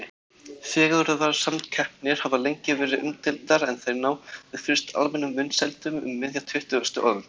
Fegurðarsamkeppnir hafa lengi verið umdeildar en þær náðu fyrst almennum vinsældum um miðja tuttugustu öld.